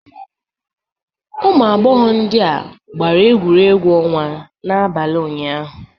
Ụmụ agbọghọ ndị a gbara egwuregwu ọnwa n'abalị ụnyaahụ.